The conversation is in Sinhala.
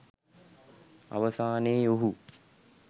අවසානයේ ඔහු